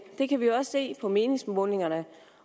det kan vi jo se på meningsmålingerne